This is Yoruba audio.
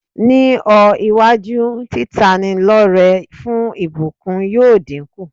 Ní ọ́-iwájú, títanilọ́rẹ fún ìbùkuńn yóò dínkù.